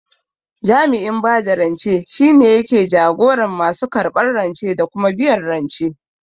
Jami'in bada rance shine yake jagoran masu karɓan rance da kuma biyan rance